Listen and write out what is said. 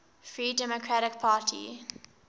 free democratic party